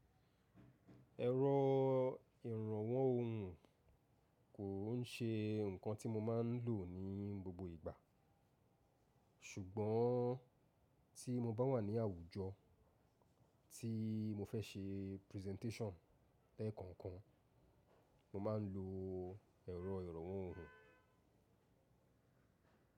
Ẹ̀rọ ìrànwọ́ ohùn kò ń ṣe nǹkan tí mo máa ń lò ní gbogbo ìgbà, ṣùgbọ́n tí mo bá wà ní àwùjọ tí mo fẹ́ ṣe presentation lẹ́ẹ̀kọ̀ọ̀kan, mo máa ń lo ẹ̀rọ ìrànwọ́ ohùn.